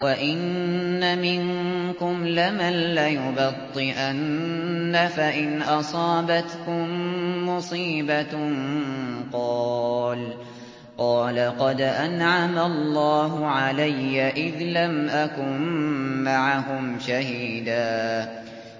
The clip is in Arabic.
وَإِنَّ مِنكُمْ لَمَن لَّيُبَطِّئَنَّ فَإِنْ أَصَابَتْكُم مُّصِيبَةٌ قَالَ قَدْ أَنْعَمَ اللَّهُ عَلَيَّ إِذْ لَمْ أَكُن مَّعَهُمْ شَهِيدًا